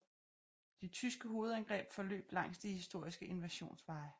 De tyske hovedangreb forløb langs de historiske invasionsveje